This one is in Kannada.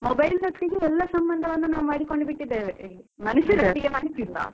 Mobile ಒಟ್ಟಿಗೆ ನಾವ್ ಎಲ್ಲ ಸಂಬಂಧ ಮಾಡಿಕೊಂಡು ಬಿಟ್ಟಿದೇವೆ. ಮನುಷ್ಯರ ಒಟ್ಟಿಗೆ ಮಾಡುತ್ತಿಲ್ಲ.